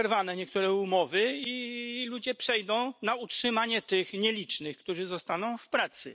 Będą zerwane niektóre umowy i ludzie przejdą na utrzymanie tych nielicznych, którzy zostaną w pracy.